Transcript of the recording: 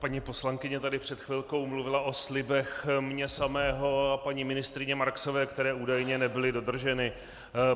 Paní poslankyně tady před chvilkou mluvila o slibech mě samého a paní ministryně Marksové, které údajně nebyly dodrženy.